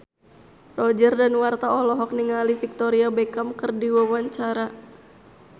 Roger Danuarta olohok ningali Victoria Beckham keur diwawancara